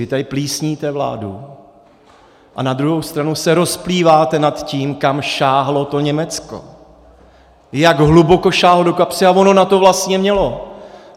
Vy tady plísníte vládu, a na druhou stranu se rozplýváte nad tím, kam sáhlo to Německo, jak hluboko sáhlo do kapsy, a ono na to vlastně mělo.